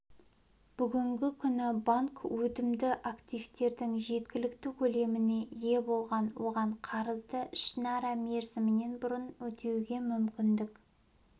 бүгінгі күні банк өтімді активтердің жеткілікті көлеміне ие бұл оған қарызды ішінара мерзімінен бұрын өтеуге мүмкіндік